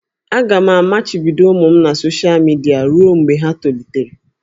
Aga m amachibido ụmụ m na soshal midia ruo mgbe ha tolitere